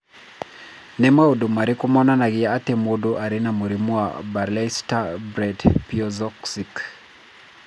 Nĩ maũndũ marĩkũ monanagia atĩ mũndũ arĩ na mũrimũ wa Baraitser Brett Piesowicz?